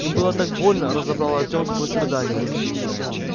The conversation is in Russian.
им было так больно разобрал артем сквозь рыдания